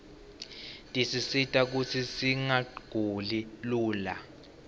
tisisita kutsi singaguli lula